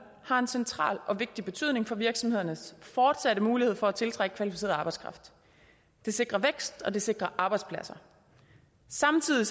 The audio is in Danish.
har en central og vigtig betydning for virksomhedernes fortsatte mulighed for at tiltrække kvalificeret arbejdskraft det sikrer vækst og det sikrer arbejdspladser samtidig